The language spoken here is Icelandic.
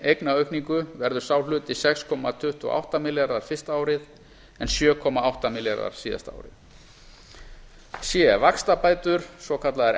eignaaukningu verður sá hluti sex komma tuttugu og átta milljarðar fyrsta árið en sjö komma átta milljarðar síðasta árið c vaxtabætur svokallaðar